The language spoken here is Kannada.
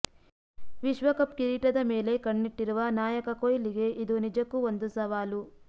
ವಿಶ್ವಕಪ್ ಕಿರೀಟದ ಮೇಲೆ ಕಣ್ಣಿಟ್ಟಿರುವ ನಾಯಕ ಕೊಹ್ಲಿಗೆ ಇದು ನಿಜಕ್ಕೂ ಒಂದು ಸವಾಲು